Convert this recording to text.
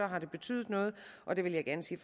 har betydet noget og der vil jeg gerne sige